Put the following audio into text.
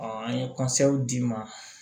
an ye d'i ma